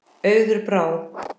Auður Brá.